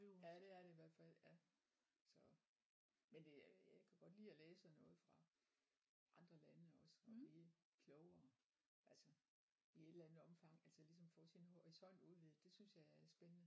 Ja det er det i hvert fald ja så men øh jeg kan godt lide at læse sådan noget fra andre lande også og blive klogere altså i et eller andet omfang altså ligesom få sin horisont udvidet det synes jeg er spændende